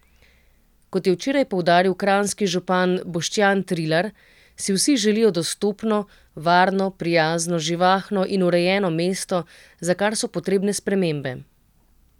Kot je včeraj poudaril kranjski župan Boštjan Trilar, si vsi želijo dostopno, varno, prijazno, živahno in urejeno mesto, za kar so potrebne spremembe.